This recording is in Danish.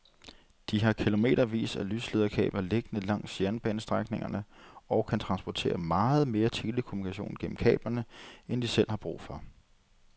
De har kilometervis af lyslederkabler liggende langs jernbanestrækningerne og kan transportere meget mere telekommunikation gennem kablerne end de selv har brug for.